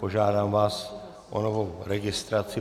Požádám vás o novou registraci.